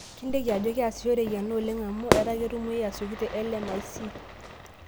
Kinteiki aje keasishoreki ena oleng' amau etaa ketumuoyu aasioki te LMIC.